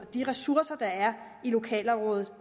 de ressourcer der er i lokalområdet